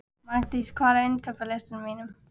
Magndís, hvað er á innkaupalistanum mínum?